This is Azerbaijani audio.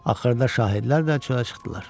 Axırda şahidlər də çölə çıxdılar.